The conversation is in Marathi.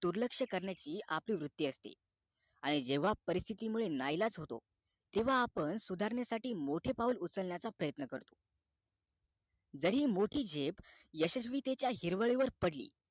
दुर्लक्ष्य करण्याची आपली वृत्ती असते आणि जेव्हा परिस्तिथी मुळे नाईलाज होतो आपण सुधारण्यासाठी मोठे पाऊल उचलण्याचा प्रयत्न करतो जरी मोठी झेप यशस्वीतेच्या हिरवळीवर पडली